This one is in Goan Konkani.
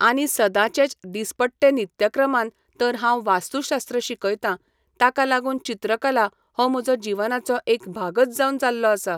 आनी सदाचेंच दिसपट्टे नित्यक्रमान तर हांव वास्तुशास्त्र शिकयतां ताका लागून चित्रकला हो म्हजो जिवनाचो एक भागच जावन जाल्लो आसा.